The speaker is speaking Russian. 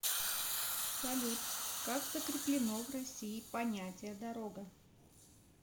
салют как закреплено в россии понятие дорога